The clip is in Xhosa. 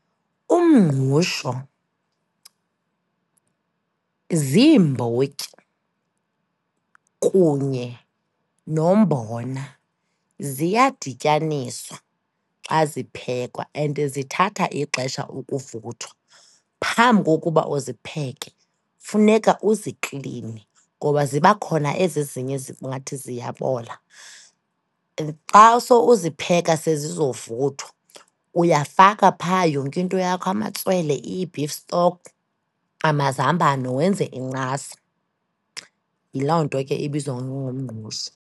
Umngqusho ziimbotyi kunye nombona, ziyadityaniswa xa ziphekwa and zithatha ixesha ukuvuthwa. Phambi kokuba uzipheke, funeka uzikline ngoba ziba khona ezi ezinye zingathi ziyabola. Xa sowuzipheka sezizovuthwa uyafaka phaa yonke into yakho, amatswele, i-beef stock, amazambane wenze incasa. Yiloo nto ke ebizwa ngumngqusho.